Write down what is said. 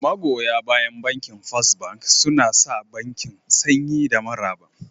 Magoya bayan Bankin First Bank suna sa bankin sanyi da maraba